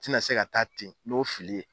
N tɛna se ka taa ten n'o fili ye.